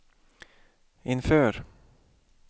inför